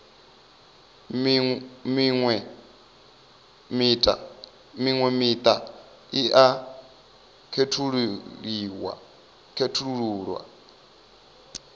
miṅwe miṱa i a khethululwa